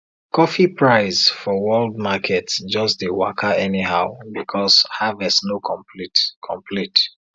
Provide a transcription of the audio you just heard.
coffee price for world market just dey waka anyhow because harvest no complete complete